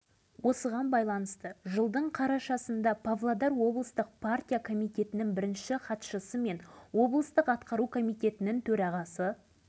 ал осы жылдың тамызында семей облысының экономикалық және әлеуметтік дамуын жеделдету жөнінде қосымша шаралар белгіленгені туралы үкімет қаулысы